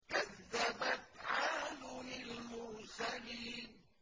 كَذَّبَتْ عَادٌ الْمُرْسَلِينَ